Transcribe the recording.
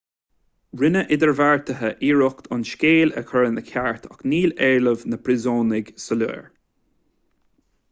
rinne idirbheartaithe iarracht an scéal a chur ina cheart ach níl éilimh na bpríosúnach soiléir